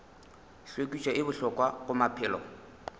hlwekišo e bohlokwa go maphelo